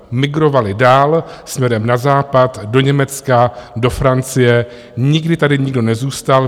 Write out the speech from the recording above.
Migrovali dál směrem na západ, do Německa, do Francie, nikdy tady nikdo nezůstal.